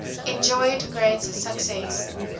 enjoyed great success